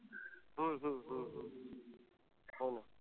हम्म हम्म हम्म हम्म हो.